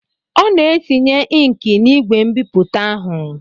Ọ na-etinye inki n'igwe mbipụta ahụ.